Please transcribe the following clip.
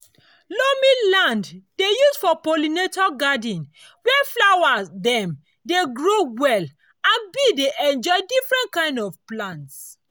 loamy land dey used for pollinator garden where flower dem dey grow well and bees dey enjoy different kind of plants.